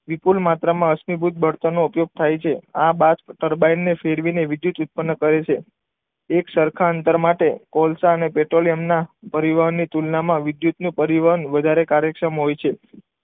વિપુલ માત્રામાં કાશ્મીભૂત બળતણ નો ઉપયોગ થાય છે. આ બાજપુર ટર્બાઇનને ફેરવીને વિદ્યુત ઉત્પન્ન કરે છે. એક સરખા અંતર માટે કોલસા અને પેટ્રોલિયમના પરિવહનની તુલનામાં વિદ્યુતનું પરિવહન વધારે કાર્યક્ષમ હોય છે.